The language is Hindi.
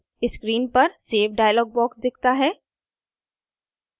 screen पर save dialog box दिखता है